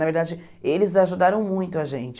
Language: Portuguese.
Na verdade, eles ajudaram muito a gente.